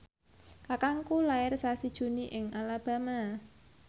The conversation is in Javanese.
kakangku lair sasi Juni ing Alabama